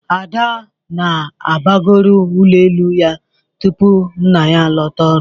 Ada ga na-abagori ụgbọelu ya tupu nna ya a lota ọrụ.